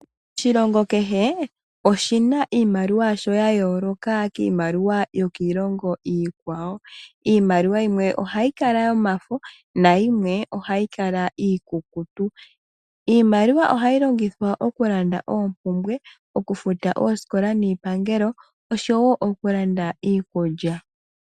Oshilongo kehe oshina iimaliwa yasho ya yooloka kiimaliwa yokiilongo iikwawo. Iimaliwa yimwe ohayi kala yomafo nayimwe ohayi kala iikukutu. Iimaliwa ohayi longithwa oku landa oompumbwe, okufuta ooskola niipangelo oshowo oku landa iikulya.